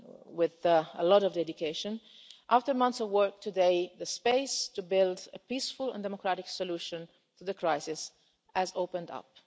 day, with a lot of dedication, after months of work today the space to build a peaceful and democratic solution to the crisis has opened up.